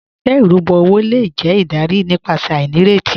Awọn iṣẹ irubọ owo le jẹ idarí nípasẹ̀ ainíretí